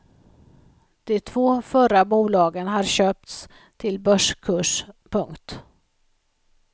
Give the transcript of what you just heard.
De två förra bolagen har köpts till börskurs. punkt